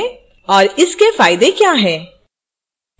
और इसके फायदे क्या हैं